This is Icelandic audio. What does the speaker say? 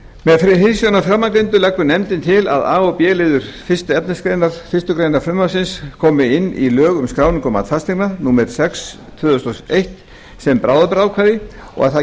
með hliðsjón af framangreindu leggur nefndin til að a og b liður fyrstu efnismgr fyrstu grein frumvarpsins komi inn í lög um skráningu og mat fasteigna númer sex tvö þúsund og eitt sem bráðabirgðaákvæði og að það